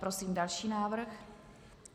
Prosím další návrh.